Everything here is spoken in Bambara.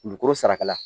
Dugukolo sarakala